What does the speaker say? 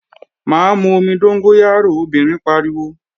Má mu omi dóngóyárò, obìnrin pariwo!